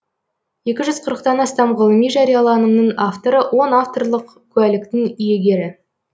екі жүз қырықтан астам ғылыми жарияланымның авторы он авторлық куәліктің иегері